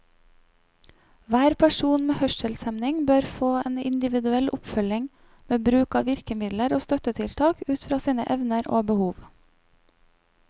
Hver person med hørselshemming bør få en individuell oppfølging, med bruk av virkemidler og støttetiltak ut fra sine evner og behov.